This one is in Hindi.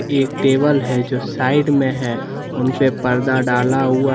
एक टेबल है जो साइड में है उनपे पर्दा डाला हुआ--